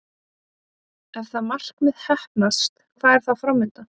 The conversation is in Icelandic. Ef það markmið heppnast, hvað er þá fram undan?